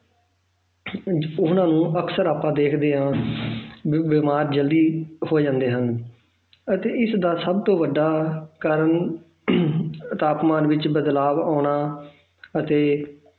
ਉਹਨਾਂ ਨੂੰ ਅਕਸਰ ਆਪਾਂ ਦੇਖਦੇ ਹਾਂ ਵੀ ਬਿਮਾਰ ਜ਼ਲਦੀ ਹੋ ਜਾਂਦੇ ਹਨ ਅਤੇ ਇਸਦਾ ਸਭ ਤੋਂ ਵੱਡਾ ਕਾਰਨ ਤਾਪਮਾਨ ਵਿੱਚ ਬਦਲਾਵ ਆਉਣਾ ਅਤੇ